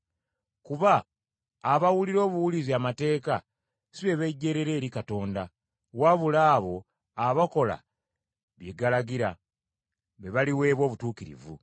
Kuba abawulira obuwulizi amateeka, si be bejjeerera eri Katonda, wabula abo abakola bye galagira, be baliweebwa obutuukirivu.